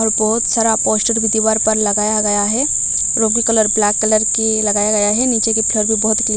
और बहुत सारा पोस्टर भी दीवार पर लगाया गया है और वो भी कलर ब्लैक कलर की लगाया गया है नीचे की फ्लोर भी बहुत ही कलीन --